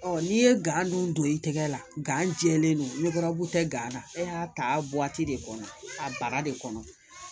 n'i ye gan dun don i tɛgɛ la gan jɛlen don ni baabu tɛ gan na e y'a ta de kɔnɔ a bara de kɔnɔ